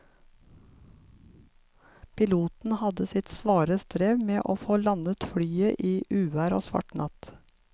Piloten hadde sitt svare strev med å få landet flyet i uvær og svart natt.